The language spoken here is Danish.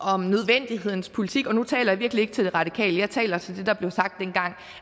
om nødvendighedens politik og nu taler jeg virkelig ikke til de radikale jeg taler til det der blev sagt dengang